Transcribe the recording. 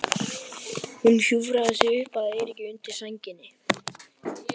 Hún hjúfraði sig upp að Eiríki undir sænginni.